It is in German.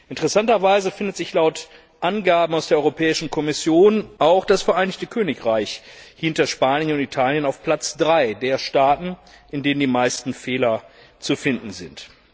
Interessanterweise findet sich laut Angaben aus der Europäischen Kommission auch das Vereinigte Königreich hinter Spanien und Italien auf Platz 3 der Staaten, in denen die meisten Fehler zu finden sind.